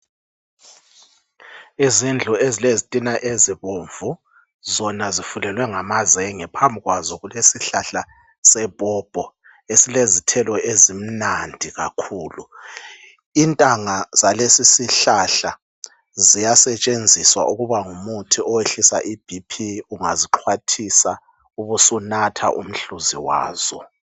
Izindlu ezilezitina ezibomvu, zona zifulelwe ngamazenge, phambi kwaso kulesihlahla sepopo, esilezithelo ezimnandi kakhulu, intanga zalesi isihlahla ziyasetshenziswa ukuba ngumuthi oyehlisa iBP ungazixhwathisa ube usunatha umhluzi wazo.